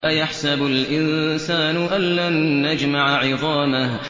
أَيَحْسَبُ الْإِنسَانُ أَلَّن نَّجْمَعَ عِظَامَهُ